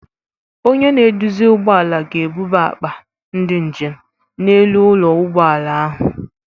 Onye na-eduzi ụgbọ ala ga-ebuba akpa ndị njem n'elu ụlọ ụgbọ ala ahụ.